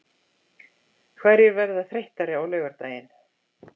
Hverjir verða þreyttari á laugardaginn?